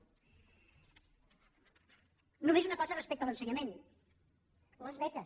només una cosa respecte a l’ensenyament les beques